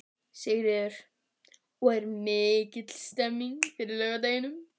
Sigríður: Og er mikil stemning fyrir laugardeginum?